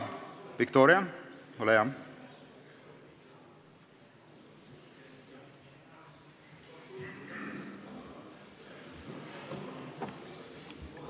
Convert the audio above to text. Viktoria, ole hea!